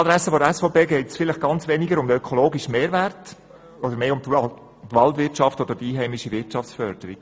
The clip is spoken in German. An die Adresse der SVP: Ihnen geht es vielleicht weniger um einen ökologischen Mehrwert als um die Waldwirtschaft und die einheimische Wirtschaftsförderung.